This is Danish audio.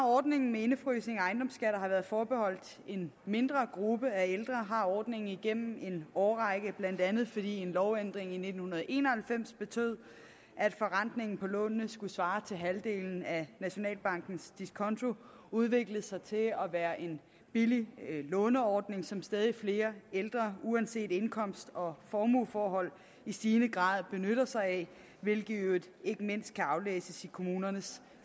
ordningen med indefrysning af ejendomsskatter har været forbeholdt en mindre gruppe af ældre har ordningen igennem en årrække blandt andet fordi en lovændring i nitten en og halvfems betød at forrentningen på lånene skulle svare til halvdelen af nationalbankens diskonto udviklet sig til at være en billig låneordning som stadig flere ældre uanset indkomst og formueforhold i stigende grad benytter sig af hvilke i øvrigt ikke mindst kan aflæses i kommunernes